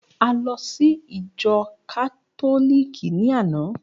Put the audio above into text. A lọ sí ìjọ Kátólíìkì ní àná